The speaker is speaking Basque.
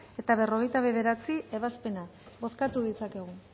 eta berrogeita bederatzi ebazpena bozkatu ditzakegu